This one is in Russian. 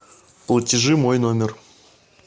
платежи мой номер